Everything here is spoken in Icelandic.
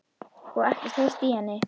Og ekkert heyrt í henni?